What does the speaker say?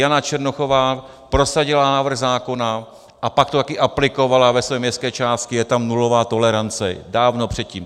Jana Černochová prosadila návrh zákona a pak to taky aplikovala ve své městské části, je tam nulová tolerance, dávno předtím.